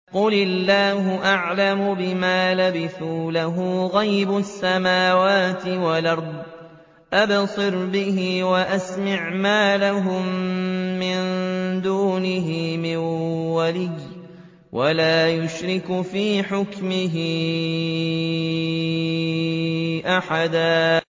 قُلِ اللَّهُ أَعْلَمُ بِمَا لَبِثُوا ۖ لَهُ غَيْبُ السَّمَاوَاتِ وَالْأَرْضِ ۖ أَبْصِرْ بِهِ وَأَسْمِعْ ۚ مَا لَهُم مِّن دُونِهِ مِن وَلِيٍّ وَلَا يُشْرِكُ فِي حُكْمِهِ أَحَدًا